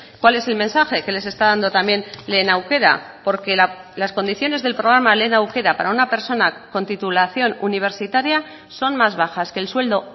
cuál es el mensaje que les está dando también lehen aukera porque las condiciones del programa lehen aukera para una persona con titulación universitaria son más bajas que el sueldo